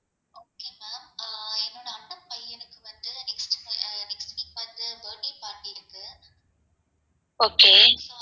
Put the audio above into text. okay